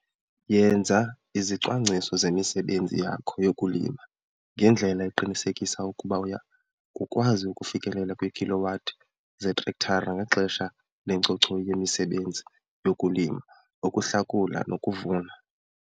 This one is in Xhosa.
Yenza izicwangciso zemisebenzi yakho yokulima ngendlela eqinisekisa ukuba uya kukwazi ukufikelela kwii-kilowatt zeetrektara ngexesha lencochoyi yemisebenzi yokulima, ukuhlakula nokuvuna.